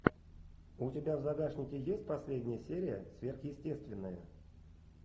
у тебя в загашнике есть последняя серия сверхъестественное